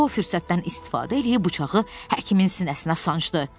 Co fürsətdən istifadə eləyib bıçağı həkimin sinəsinə sancdı.